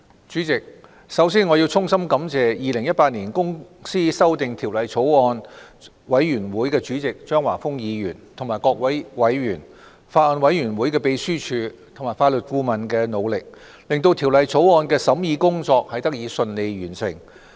主席，首先，我要衷心感謝《2018年公司條例草案》委員會主席張華峰議員和各位委員、法案委員會秘書處和法律顧問的努力，令《2018年公司條例草案》的審議工作得以順利完成。